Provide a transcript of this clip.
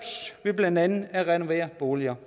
med blandt andet at renovere boliger